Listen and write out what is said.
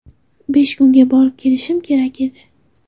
Besh kunga borib kelishim kerak edi.